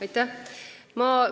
Aitäh!